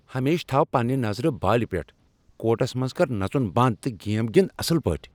ہمیشہٕ تھاو پننِہ نظرٕ بالِہ پیٹھ۔ کورٹس منز کر نژُن بند تہٕ گیم گِند اصل پٲٹھۍ۔